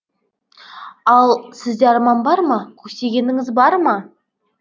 ал сізде арман бар ма көксегеніңіз бар ма